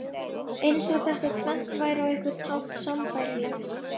Eins og þetta tvennt væri á einhvern hátt sambærilegt.